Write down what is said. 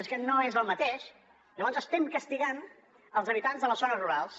és que no és el mateix llavors estem castigant els habitants de les zones rurals